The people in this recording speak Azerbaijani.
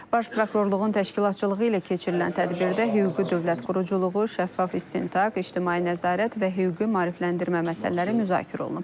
Baş prokurorluğun təşkilatçılığı ilə keçirilən tədbirdə hüquqi dövlət quruculuğu, şəffaf istintaq, ictimai nəzarət və hüquqi maarifləndirmə məsələləri müzakirə olunub.